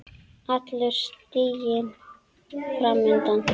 Allur stiginn fram undan.